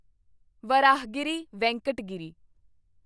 Varahagiri Venkat Giri